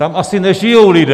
Tam asi nežijí lidé.